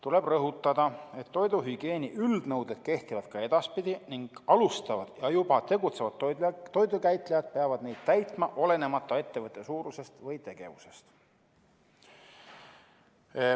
Tuleb rõhutada, et toiduhügieeni üldnõuded kehtivad ka edaspidi ning alustavad ja juba tegutsevad toidukäitlejad peavad neid täitma olenemata ettevõtte suurusest või tegevusest.